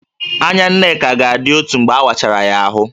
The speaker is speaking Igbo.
Anya Nneka ga-adị otu mgbe a wachara ya ahụ